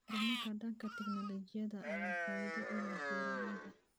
Horumarka dhanka tignoolajiyada ayaa faa'iido u leh beeralayda.